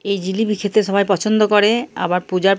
এই জিলিপি খেতে সবাই পছন্দ করে। আবার পূজার ।